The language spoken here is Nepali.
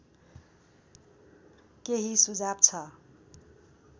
केही सुझाव छ